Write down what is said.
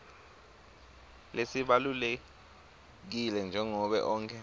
lesibalulekile njengobe onkhe